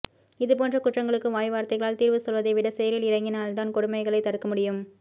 இது போன்ற குற்றங்களுக்கு வாய் வார்த்தைகளால் தீர்வு சொல்வதை விட செயலில் இறங்கினால்தான் கொடுமைகளை தடுக்க முடியும்